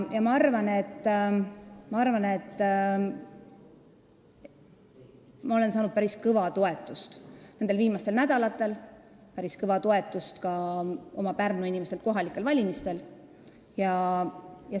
Ma arvan, et ma olen saanud nendel viimastel nädalatel päris kõva toetust, päris kõva toetuse sain ka Pärnu inimestelt kohalikel valimistel.